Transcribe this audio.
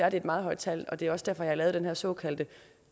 er et meget højt tal det er også derfor jeg har lavet den her såkaldte